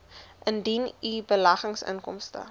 indien u beleggingsinkomste